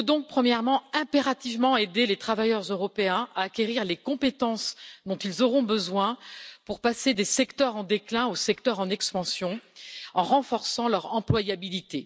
Premièrement, il faut donc impérativement aider les travailleurs européens à acquérir les compétences dont ils auront besoin pour passer des secteurs en déclin aux secteurs en expansion, en renforçant leur employabilité.